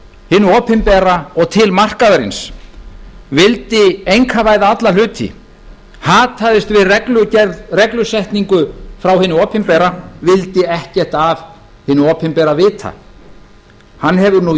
frá hinu opinbera og til markaðarins vildi einkavæða alla hluti hataðist við reglusetningu frá hinu opinbera vildi ekkert af hinu opinbera vita hann hefur nú